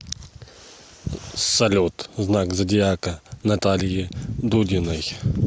салют знак зодиака натальи дудиной